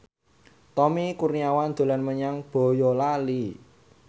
Tommy Kurniawan dolan menyang Boyolali